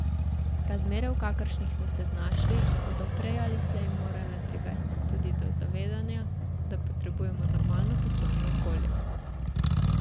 Razmere, v kakršnih smo se znašli, bodo prej ali slej morale privesti tudi do zavedanja, da potrebujemo normalno poslovno okolje.